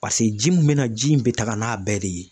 Paseke ji min be na ji in be taga n'a bɛɛ de ye